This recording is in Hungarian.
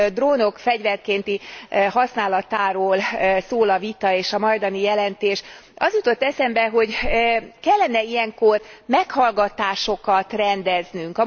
drónok fegyverkénti használatáról szól a vita és a majdani jelentés, az jutott eszembe, hogy kellene ilyenkor meghallgatásokat rendeznünk.